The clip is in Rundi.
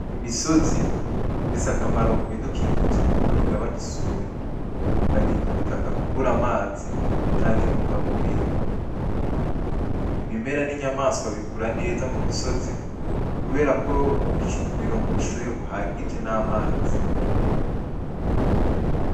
Imisozi ifise akamaro ku bidukikije Kuko igabanya isuri, ikarinda ubutaka kubura amazi canke intunga mubiri. Ibimera n’inyamaswa bikura neza mu misozi kubera ko bironka ubushuhe buhagije n’amazi.